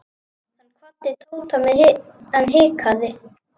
Hann kvaddi Tóta en hikaði.